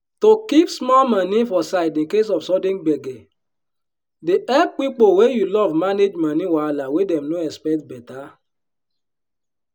to keep small moni for side in case of sudden gbege dey help pipo wey you love manage moni wahala wey dem no expect beta.